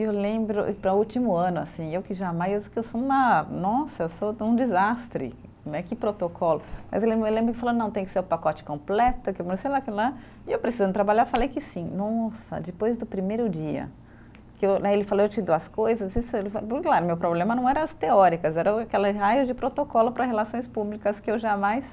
Eu lembro, e para o último ano assim, eu que jamais, que eu sou uma, nossa, eu sou um desastre né, que protocolo, mas eu lembro que ele falou, não, tem que ser o pacote completo, que não sei lá o que lá, e eu precisando trabalhar, eu falei que sim, nossa, depois do primeiro dia que eu né, ele falou, eu te dou as coisas, meu problema não era as teóricas, era o aquele raio de protocolo para relações públicas que eu jamais...